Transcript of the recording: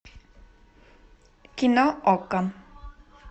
кино окко